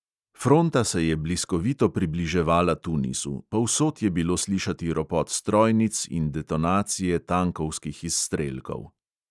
Fronta se je bliskovito približevala tunisu, povsod je bilo slišati ropot strojnic in detonacije tankovskih izstrelkov.